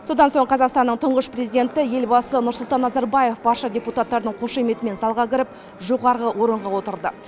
содан соң қазақстанның тұңғыш президенті елбасы нұрсұлтан назарбаев барша депутаттардың қошеметімен залға кіріп жоғарғы орынға отырды